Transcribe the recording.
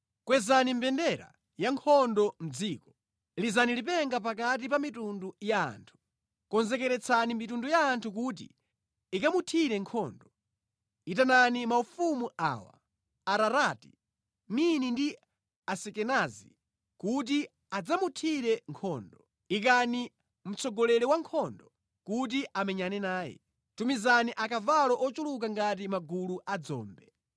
“Kwezani mbendera ya nkhondo mʼdziko! Lizani lipenga pakati pa mitundu ya anthu! Konzekeretsani mitundu ya anthu kuti ikamuthire nkhondo; itanani maufumu awa: Ararati, Mini ndi Asikenazi kuti adzamuthire nkhondo. Ikani mtsogoleri wankhondo kuti amenyane naye; tumizani akavalo ochuluka ngati magulu a dzombe.